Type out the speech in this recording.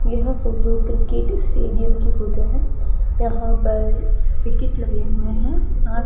यह photo cricket stadium की photo है यहां पर विकेट लगे हुए हैं।